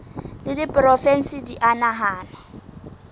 tsa diporofensi di a nahanwa